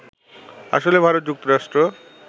আসলে ভারত-যুক্তরাষ্ট্র